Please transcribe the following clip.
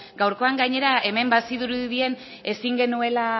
gaurkoan gainera hemen bazirudien ezin genuela